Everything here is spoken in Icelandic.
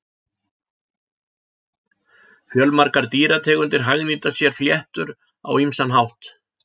Fjölmargar dýrategundir hagnýta sér fléttur á ýmsan hátt.